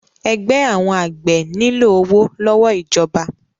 Ẹgbẹ́ àwọn àgbẹ̀ nílò owó lọ́wọ́ ìjọba.